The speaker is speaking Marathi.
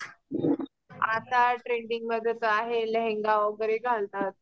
आता ट्रेंडिंगमध्ये तर आहे लेहेंगा वगैरे घालतात.